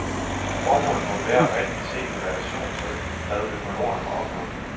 Formålet må være rigtigt set i relation til, hvad økologerne har opnået.